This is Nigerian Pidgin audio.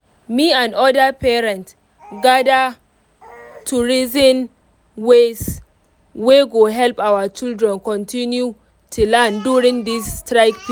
me and other parents gather to reason ways wey go help our children continue to learn during this strike.